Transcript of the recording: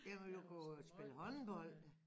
Jeg ville jo gå spille håndbold